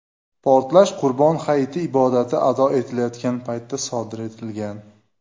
Portlash Qurbon hayiti ibodati ado etilayotgan paytda sodir etilgan.